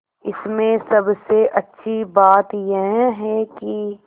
इसमें सबसे अच्छी बात यह है कि